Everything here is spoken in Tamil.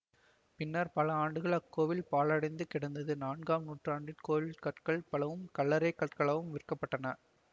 பின்னர் பல ஆண்டுகள் அக்கோவில் பாழடைந்து கிடந்தது நான்காம் நூற்றாண்டு கோவிலின் கற்கள் பலவும் கல்லறைக் கற்களாக விற்கப்பட்டன